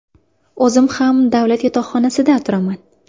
O‘zim ham davlat yotoqxonasida turaman.